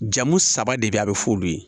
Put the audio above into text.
Jamu saba de be yen a bi f'olu ye